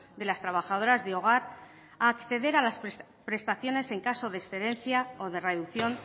de las trabajadoras de hogar a acceder a las prestaciones en caso de excedencia o de reducción